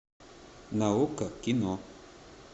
на окко кино